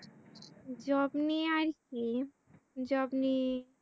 job নিয়ে আর কি job নিয়ে